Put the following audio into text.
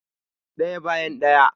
Ɗaya bayan ɗaya